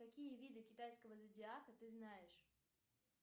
какие виды китайского зодиака ты знаешь